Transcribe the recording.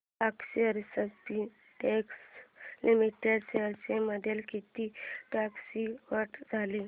अक्षर Spintex limited shares मध्ये किती टक्क्यांची वाढ झाली